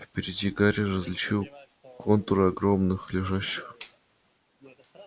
впереди гарри различил контуры огромных лежащих